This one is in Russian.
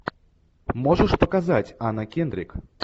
можешь показать анна кендрик